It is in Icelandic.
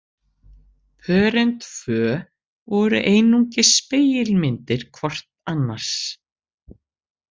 Pörin tvö voru einungis spegilmyndir hvort annars